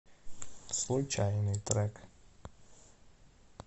случайный трек